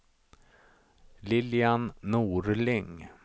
Lilian Norling